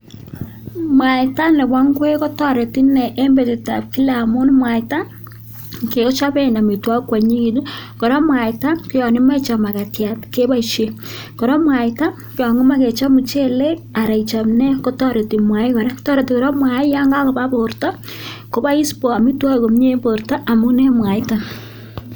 Mwaita nebo ing'wek kotoreti inee en biretab kila amun mwaita kechoben amitwokik kwonyinyekitun kora mwaita koyon imoche ichob makatiat keboisen, kora mwaita ko yoon kimoe kechob muchelek aran ichob nee kotoreti kora mwaiton, toreti kora mwaii yoon kakobaa borto kobois amitwokik komnye en borto amun en mwaiton.